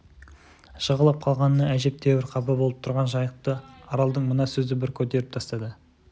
жығылып қалғанына әжептеуір қапа болып тұрған жайықты аралдың мына сөзі бір көтеріп тастады